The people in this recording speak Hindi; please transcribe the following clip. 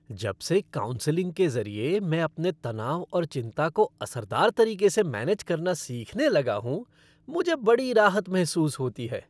जबसे काउंसलिंग के ज़रिए, मैं अपने तनाव और चिंता को असरदार तरीके से मैनेज करना सीखने लगा हूँ, मुझे बड़ी राहत महसूस होती है।